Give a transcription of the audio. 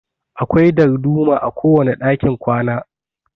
Akwai darduma a kowane dakin kwana.